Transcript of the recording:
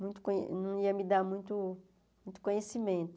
muito co não ia me dar muito conhecimento.